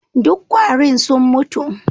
Duk kwarin sun mutu